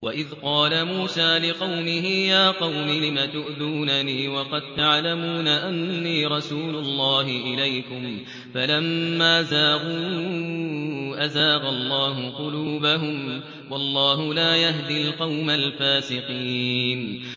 وَإِذْ قَالَ مُوسَىٰ لِقَوْمِهِ يَا قَوْمِ لِمَ تُؤْذُونَنِي وَقَد تَّعْلَمُونَ أَنِّي رَسُولُ اللَّهِ إِلَيْكُمْ ۖ فَلَمَّا زَاغُوا أَزَاغَ اللَّهُ قُلُوبَهُمْ ۚ وَاللَّهُ لَا يَهْدِي الْقَوْمَ الْفَاسِقِينَ